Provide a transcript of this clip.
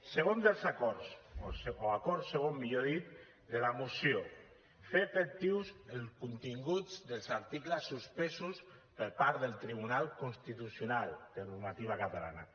segon dels acords o acord segon millor dit de la moció fer efectius els continguts dels articles suspesos per part del tribunal constitucional de normativa catalana